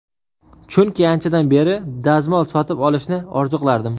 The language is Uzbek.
Chunki anchadan beri, dazmol sotib olishni orzu qilardim.